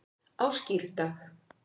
á skírdag